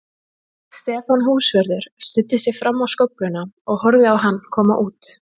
Stefán húsvörður studdi sig fram á skófluna og horfði á hann koma út.